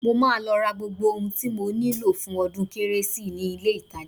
Mo máa lọ ra gbogbo ohun tí mo nílò fún ọdún kérésì ni ilé-ìtajà